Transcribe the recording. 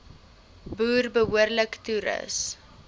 boere behoorlik toerus